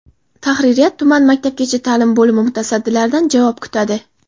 Tahririyat tuman maktabgacha ta’lim bo‘limi mutasaddilaridan javob kutadi.